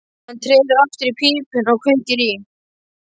Hann treður aftur í pípuna og kveikir í.